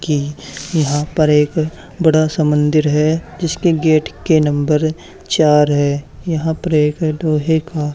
कि यहां पर एक बड़ा सा मंदिर है जिसके गेट के नंबर चार है यहां पर एक लोहे का--